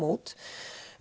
út